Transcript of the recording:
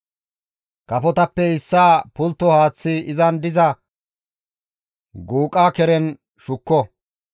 Kafotappe issaa pultto haaththi izan diza guuqa keren shukko;